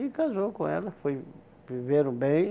E casou com ela, foi viveram bem.